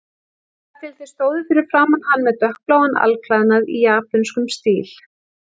Þar til þeir stóðu fyrir framan hann með dökkbláan alklæðnað í japönskum stíl.